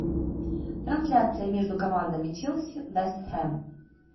трансляция между командами челси вест хэм